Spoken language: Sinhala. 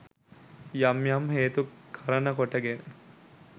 යම් යම් හේතු කරන කොටගෙන